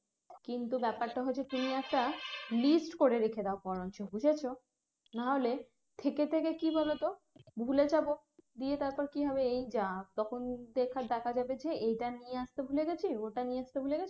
কিন্তু ব্যাপারটা হচ্ছে তুমি একটা list করে রেখে দাও বরঞ্চ বুঝেছ নাহলে থেকে থেকে কি বলোতো ভুলে যাব দিয়ে তারপর কি হবে এই যা তখন দেখ~ দেখা যাবে যে এটা নিয়ে আসতে ভুলে গেছি ওটা নিয়ে আসতে ভুলে গেছি